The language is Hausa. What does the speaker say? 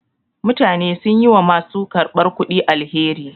Mutane sun yi wa ma su karɓar kudi alheri.